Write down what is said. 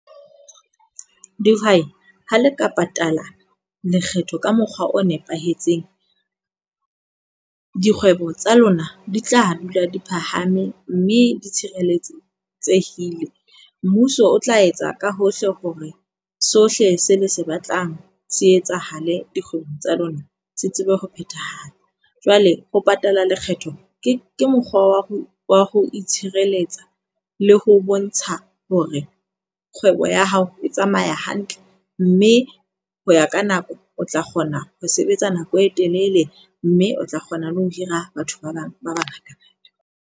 Dihwai, ha le ka patala lekgetho ka mokgwa o nepahetseng. Dikgwebo tsa lona di tla dula di phahame mme di tshireletsehile. Mmuso o tla etsa ka hohle hore sohle se le se batlang se etsahale dikgwebo tsa lona se tsebe ho phethahala. Jwale ho patala lekgetho ke ke mokgwa wa ho wa ho itshireletsa le ho bontsha hore kgwebo ya hao e tsamaya hantle. Mme ho ya ka nako, o tla kgona ho sebetsa nako e telele. Mme o tla kgona le ho hira batho ba bang ba bangata.